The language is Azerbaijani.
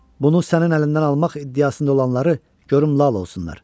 Bunu sənin əlindən almaq iddiasında olanları görüm lal olsunlar.